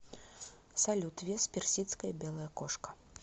салют вес персидская белая кошка